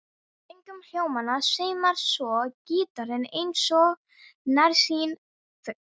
Kringum hljómana sveimar svo gítarinn eins og nærsýnn fugl.